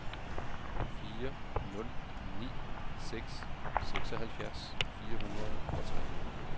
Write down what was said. fire nul ni seks seksoghalvfjerds fire hundrede og tre